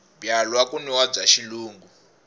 byalwa ku nwiwa bya xilungu